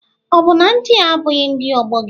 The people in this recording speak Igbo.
Ọ bụ na ndị a abụghị ndị ọgbọ gị?